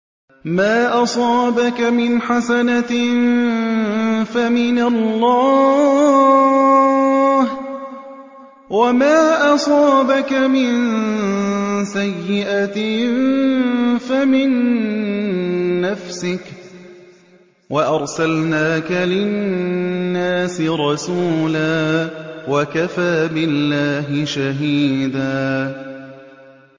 مَّا أَصَابَكَ مِنْ حَسَنَةٍ فَمِنَ اللَّهِ ۖ وَمَا أَصَابَكَ مِن سَيِّئَةٍ فَمِن نَّفْسِكَ ۚ وَأَرْسَلْنَاكَ لِلنَّاسِ رَسُولًا ۚ وَكَفَىٰ بِاللَّهِ شَهِيدًا